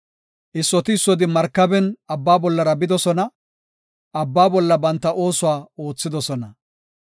Issoti issoti markaben abba bollara bidosona; abba bolla banta oosuwa oothidosona.